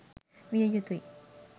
විය යුතුයි.